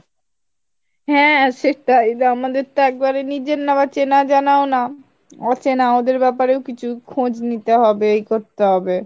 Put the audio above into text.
হ্যাঁ সেটাই যে আমাদের তো একেবারে নিজের নয় জানা ও না অচেনা ওদের ব্যাপারে ও কিছু খোঁজ নিতে হবে একটু এ করতে হবে।